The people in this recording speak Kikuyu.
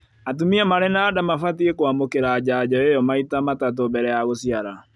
Atumia marĩ na nda mabatiĩ kwamũkĩra njanjo ĩyo maita matatũ mbele ya gũciara